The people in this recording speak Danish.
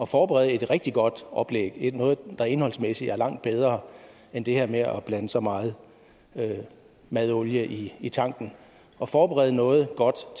forberede et rigtig godt oplæg noget der indholdsmæssigt er langt bedre end det her med at blande så meget madolie i i tanken og forberede noget godt